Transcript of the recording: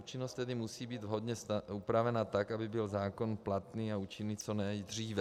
Účinnost tedy musí být vhodně upravena tak, aby byl zákon platný a účinný co nejdříve.